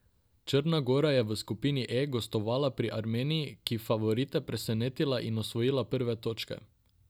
Črna gora je v skupini E gostovala pri Armeniji, ki je favorite presenetila in osvojila prve točke.